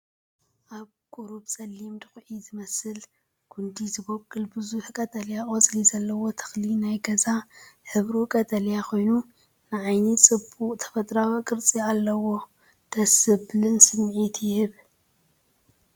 ኣብ ቁሩብ ፀሊም ዱኹዒ ዝመስልን ጕንዲ ዝበቁል ብዙሕ ቀጠልያ ቆጽሊ ዘለዎ ተኽሊ ናይ ገዛ። ሕብሩ ቀጠልያ ኮይኑ ንዓይኒ ጽቡቕ ተፈጥሮኣዊ ቅርጺ ኣለዎ። ደስ ዘብልን ስምዒት ይህብ።